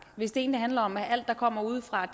hvis det egentlig handler om at alt der kommer udefra